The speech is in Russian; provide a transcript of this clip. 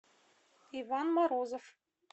иван морозов